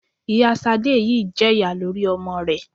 Ìyá Sadé yìí jẹ̀yà lórí ọmọ rẹ